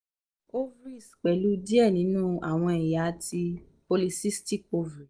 ovaries pẹlu diẹ ninu awọn ẹya ti poly cystic ovaries